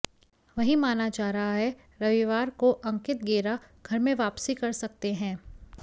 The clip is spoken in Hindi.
वहीं माना जा रहा है रविवार को अंकित गेरा घर में वापसी कर सकते हैं